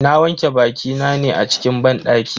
Na wanke bakina ne a cikin banɗaki.